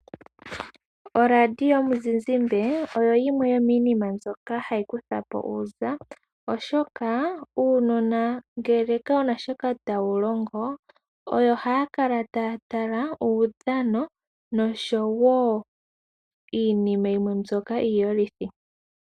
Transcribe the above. Oradio yomuzizimbe oyo yimwe yominima mbyoka hayi kuthapo uza oshoka uunona ngele kawuna shoka tawu longo oyo haya kala taya tala uudhano niinima yimwe mbyoka iiyolithi.